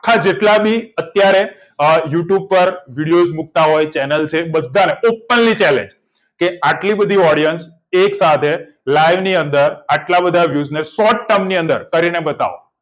થાય જેટલાની અત્યારે you tube ઉપર video મુકતા હોય channel એ બધાને open challenge કે આટલી બધી audience એક સાથે live ની અંદર આટલા બધા અને short time ની અંદર કરીને બતાવો